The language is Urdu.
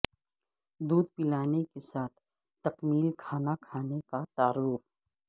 دودھ پلانے کے ساتھ تکمیل کھانا کھلانے کا تعارف